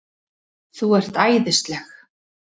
ÞÚ ERT ÆÐISLEG!